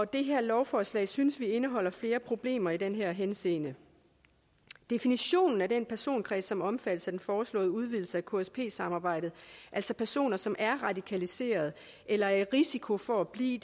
det her lovforslag synes vi indeholder flere problemer i den henseende definitionen af den personkreds som omfattes af den foreslåede udvidelse af ksp samarbejdet altså personer som er radikaliserede eller er i risiko for at blive